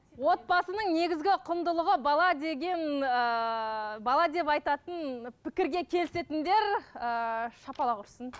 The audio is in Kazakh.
отбасының негізгі құндылығы бала деген ыыы бала деп айтатын пікірге келісетіндер ыыы шапалақ ұрсын